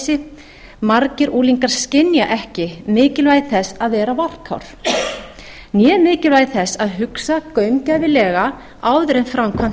óttaleysi margir unglingar skynja ekki mikilvægi þess að vera varkár né mikilvægi þess að hugsa gaumgæfilega áður en framkvæmt